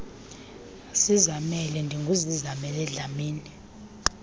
zizamele ndinguzizamele dlamini